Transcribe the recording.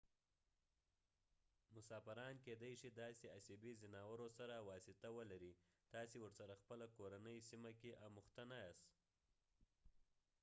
مسافران کېدې شي داسې اسیبي ځناورو سره واسطه ولرئ تاسې ورسره خپله کورنۍ سیمه کې اموخته نه یاست